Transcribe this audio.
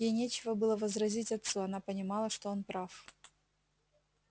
ей нечего было возразить отцу она понимала что он прав